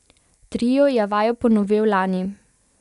Trio je vajo ponovil lani.